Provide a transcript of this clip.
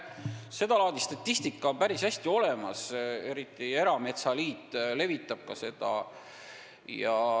Seda laadi statistika on päris hästi olemas, eriti erametsaliit levitab seda.